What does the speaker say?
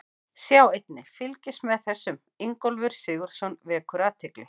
Sjá einnig: Fylgist með þessum: Ingólfur Sigurðsson vekur athygli